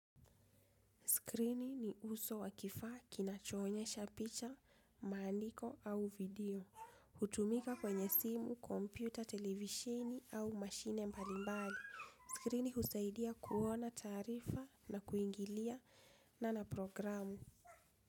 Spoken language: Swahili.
Skrini ni uso wakifaa kinachoonyesha picha, maandiko au video. Hutumika kwenye simu, kompyuta, televishini au mashine mbalimbali. Skrini husaidia kuona taarifa na kuingiliana na programu.